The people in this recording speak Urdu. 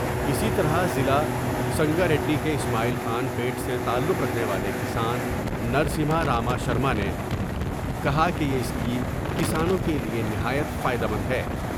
اسی طرح ضلع سنگاریڈی کے اسماعیل خان پیٹ سے تعلق رکھنے والے کسان نرسمہارا ماشرمانے کہا کہ یہ اسکیم کسانوں کے لیے نہایت فائدہ مند ہے ۔